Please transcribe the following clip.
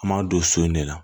An m'a don so in de la